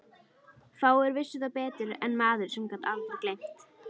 Fáir vissu það betur en maður sem gat aldrei gleymt.